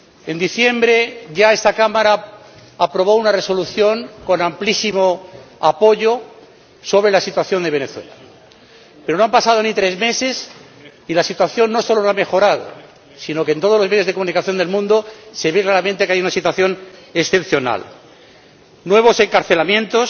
En diciembre ya esta Cámara aprobó una Resolución, con amplísimo apoyo, sobre la situación de Venezuela, pero no han pasado ni tres meses y la situación no solo no ha mejorado, sino que en todos los medios de comunicación del mundo se ve claramente que hay una situación excepcional nuevos encarcelamientos,